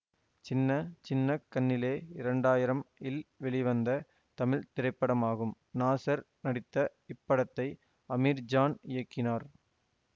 சின்ன சின்ன கண்ணிலே இரண்டாயிரம் இல் வெளிவந்த தமிழ் திரைப்படமாகும் நாசர் நடித்த இப்படத்தை அமீர்ஜான் இயக்கினார்